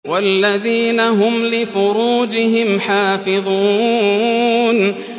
وَالَّذِينَ هُمْ لِفُرُوجِهِمْ حَافِظُونَ